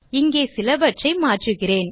இங்கே சிலவற்றை மாற்றுகிறேன்